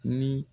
Ni